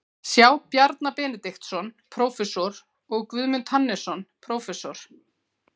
sjá Bjarna Benediktsson, prófessor, og Guðmund Hannesson, prófessor.